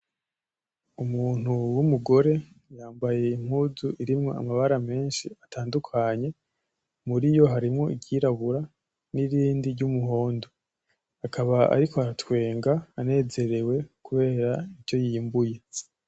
Umuntu w'umugore, yambaye impuzu irimwo amabara menshi atandukanye, muriyo harimwo iryirabura; n'irindi ry'umuhondo, akaba ariko aratwenga anezerewe kubera ivyo yimbuye.